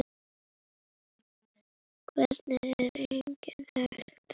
Hvernig er annað hægt?